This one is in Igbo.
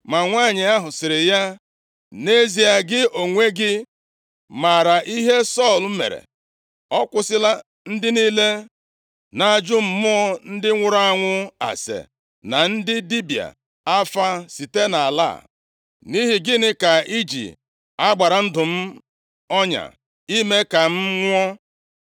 Ma nwanyị ahụ sịrị ya, “Nʼezie gị onwe gị maara ihe Sọl mere. Ọ kwụsịla ndị niile na-ajụ mmụọ ndị nwụrụ anwụ ase, na ndị dibịa afa site nʼala a. Nʼihi gịnị ka iji a gbara ndụ m ọnya, ime ka m nwụọ?”